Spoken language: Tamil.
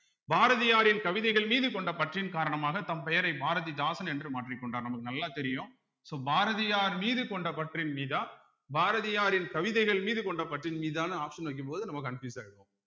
பாரதியாரின் கவிதைகள் மீது கொண்ட பற்றின் காரணமாக தம் பெயரை பாரதிதாசன் என்று மாற்றிக் கொண்டார் நமக்கு நல்லா தெரியும் so பாரதியார் மீது கொண்ட பற்றின் மீதா பாரதியாரின் கவிதைகள் மீது கொண்ட பற்றின் மீதானு option வைக்கும்போது நம்ம confuse ஆயிடுவோம்